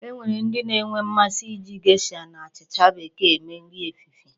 E nwere ndị na-enwe mmasị iji gesha na achịcha Bekee eme nri ehihie.